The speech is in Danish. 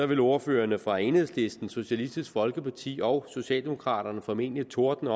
ville ordførerne fra enhedslisten socialistisk folkeparti og socialdemokraterne formentlig tordne